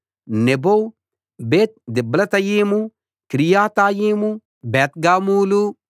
Nebo Bethdiblathaim Kiriathaim Bethgamul